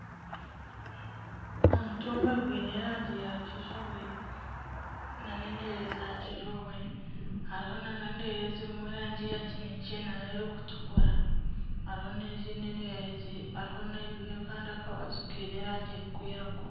Omutumba gwine erangi ya kizibwe nana endeere za kizibwe, hariho nana endeere eziine erangi ya kinekye nana erikutukura hariho nana kandi akabazu kaine erangi zirikwiragura.